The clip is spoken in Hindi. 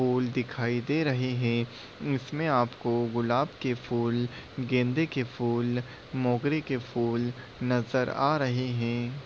फूल दिखाई दे रहे हैं। इसमे आपको गुलाब के फूल गेंदे के फूल मोगरे के फूल नजर आ रहे हैं।